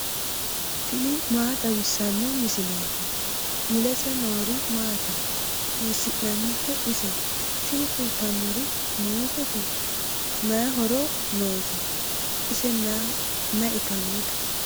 tini maa xawissanno misileeti ? mulese noori maati ? hiissinannite ise ? tini kultannori muuzete. may horo noose? ise may itannote?